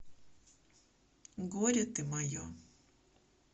горе ты мое